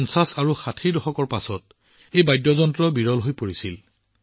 ৫০ আৰু ৬০ ৰ দশকৰ শেষৰ ফালৰ পৰা এই বাদ্যযন্ত্ৰৰ সুৰ শুনাটো বিৰল হৈ পৰিছিল